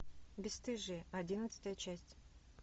бесстыжие одиннадцатая часть